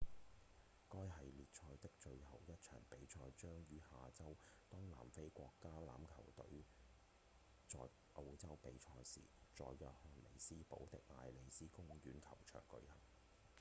該系列賽的最後一場比賽將於下週當南非國家橄欖球隊在澳洲比賽時在約翰尼斯堡的艾利斯公園球場舉行